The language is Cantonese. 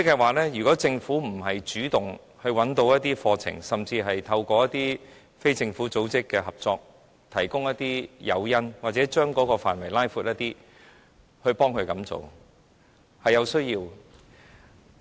換言之，政府應主動找一些課程，甚至透過與非政府組織的合作，提供一些誘因或擴闊有關的範圍，這是有需要的。